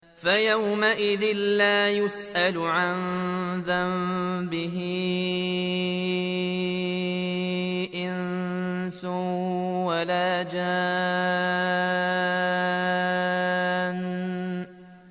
فَيَوْمَئِذٍ لَّا يُسْأَلُ عَن ذَنبِهِ إِنسٌ وَلَا جَانٌّ